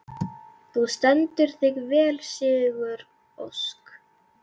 Þú stendur þig vel, Sigurósk!